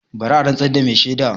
Bari a rantsar da mai shaida!